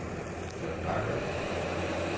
Jon Bagger